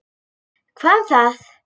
Hvað um það!